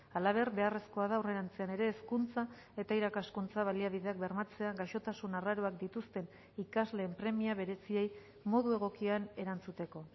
halaber beharrezkoa da aurrerantzean ere hezkuntza eta irakaskuntza baliabideak bermatzea gaixotasun arraroak dituzten ikasleen premia bereziei modu egokian erantzuteko